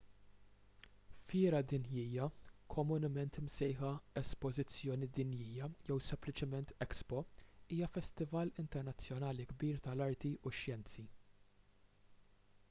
fiera dinjija komunement imsejħa espożizzjoni dinjija jew sempliċement expo” hija festival internazzjonali kbir tal-arti u x-xjenzi